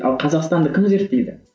ал қазақстанды кім зерттейді